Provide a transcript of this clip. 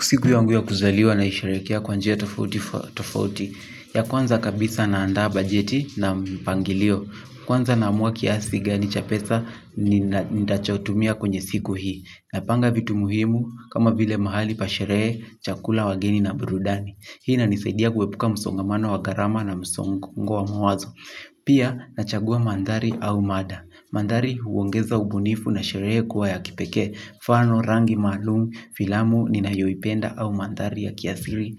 Siku yangu ya kuzaliwa naisheherekea kwa njia tofauti ya kwanza kabisa naandaa bajeti na mpangilio. Kwanza naamua kiasi gani cha pesa nitachotumia kwenye siku hii. Napanga vitu muhimu kama vile mahali pa sherehe chakula wageni na burudani. Hii inanisaidia kuepuka msongamano wa gharama na msongo wa mawazo. Pia nachagua mandhari au mada. Mandhari huongeza ubunifu na sherehe kuwa ya kipekee mfano, rangi, maalum, filamu, ninayoipenda au mandhari ya kiasili,